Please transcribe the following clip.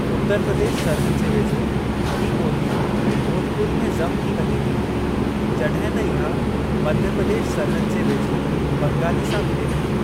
उतरु प्रदेश सरहद जे वेझो, ही ॿोली भोजपुरी में ज़म थी वञे थी, जॾहिं त इहा मध्य प्रदेश सरहद जे वेझो बंगाली सां मिले थी।